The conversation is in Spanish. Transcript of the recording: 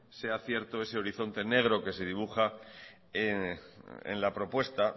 sea cierto ese horizonte negro que se dibuja en la propuesta